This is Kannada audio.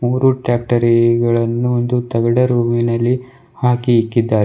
ಮೂರು ಟ್ರಾಕ್ಟರೀಗಳನ್ನು ಒಂದು ತಗಡು ರೂಮಿನಲ್ಲಿ ಹಾಕಿ ಇಕ್ಕಿದ್ದಾರೆ.